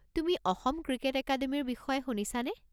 তুমি অসম ক্ৰিকেট একাডেমিৰ বিষয়ে শুনিছানে?